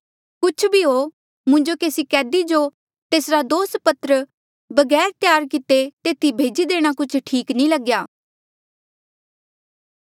कुछ भी हो मुंजो केसी कैदी जो तेसरा दोषपत्र बगैर त्यार किते तेथी भेजी देणा कुछ ठीक नी लग्या